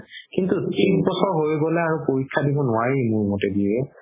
কিন্তু ত্ৰিশ বহি পেলে আৰু পৰীক্ষা দিব নোৱাৰি মোৰ মতে দিয়ে